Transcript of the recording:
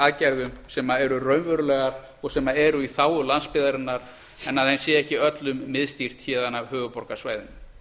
aðgerðum sem eru raunverulegar og sem eru í þágu landsbyggðarinnar en að þeim sé ekki öllum miðstýrt héðan af höfuðborgarsvæðinu